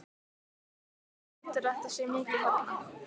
Gísli: Hvað heldurðu að þetta sé mikið þarna?